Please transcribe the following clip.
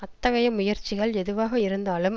அத்தகைய முயற்சிகள் எதுவாக இருந்தாலும்